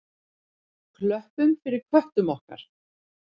Klöppum fyrir köttum okkar!